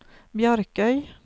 Bjarkøy